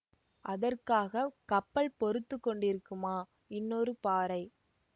அதற்காக கப்பல் பொறுத்து கொண்டிருக்குமா இன்னொரு பாறை